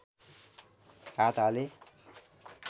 हात हाले